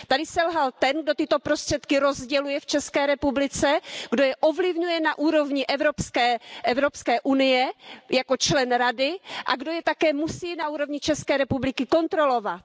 Tady selhal ten, kdo tyto prostředky rozděluje v České republice, kdo je ovlivňuje na úrovni Evropské unie jako člen Rady a kdo je také musí na úrovni České republiky kontrolovat.